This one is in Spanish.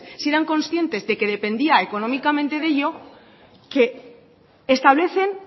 si eran conscientes de que dependía económicamente de ello que establecen